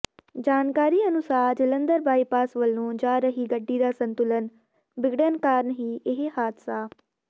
ਜਾਣਕਾਰੀ ਅਨੁਸਾਰ ਜਲੰਧਰ ਬਾਈਪਾਸ ਵੱਲੋਂ ਜਾ ਰਹੀ ਗੱਡੀ ਦਾ ਸੰਤੁਲਨ ਬਿਗੜਨ ਕਾਰਨ ਹੀ ਇਹ ਹਾਦਸਾ